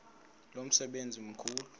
lo msebenzi mkhulu